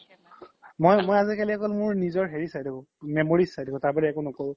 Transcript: মোই আজিকালি মোৰ অকল memories চাই থাকো তাৰ বহিৰে মই একো নকৰো